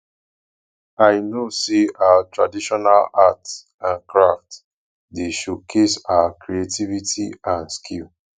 i know say our traditional art and craft dey showcase our creativity and skill